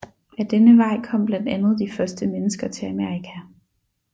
Ad denne vej kom blandt andet de første mennesker til Amerika